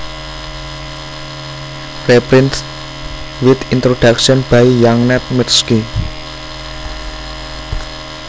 Reprinted with Introduction by Jeannette Mirsky